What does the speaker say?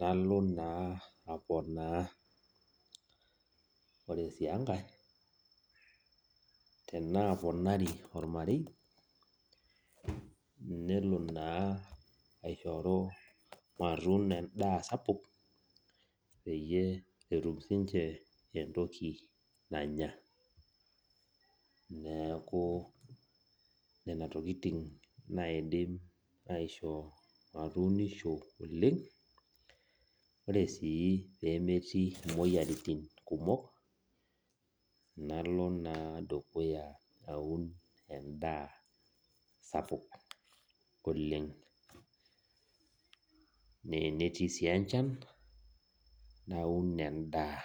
nalo naa aponaa tenaaponari ormarei nelo naa aishoru matuuno endaa sapuk pee etum siininche endaa nanya neeku nena tokitin naidim ashio matuunisho oleng ore sii peemetii imoyiaritin kumok nalo naa aun endaa sapuk oleng nenetii sii enchan naun endaa